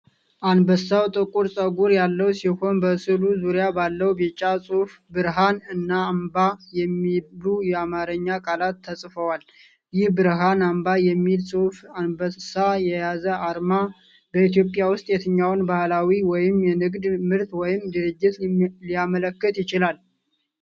አንበሳው ጥቁር ፀጉር ያለው ሲሆን፣ በሥዕሉ ዙሪያ ባለው ቢጫ ጽሑፍ "ብርሃን" እና "አምባ" የሚሉ የአማርኛ ቃላት ተጽፈዋል። ይህ "ብርሃን አምባ" የሚል ጽሑፍና አንበሳ የያዘ አርማ፣ በኢትዮጵያ ውስጥ የትኛውን ባህላዊ ወይም የንግድ ምርት ወይም ድርጅት ሊያመለክት ይችላል?